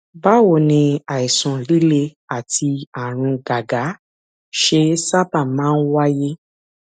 báwo ni àìsàn líle àti àrùn gágá ṣe sábà máa ń wáyé